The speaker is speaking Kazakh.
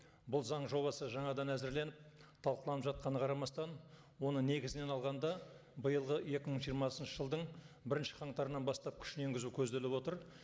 бұл заң жобасы жаңадан әзірленіп талқыланып жатқанына қарамастан оны негізінен алғанда биылғы екі мың жиырмасыншы жылдың бірінші қаңтарынан бастап күшіне енгізу көздеілп отыр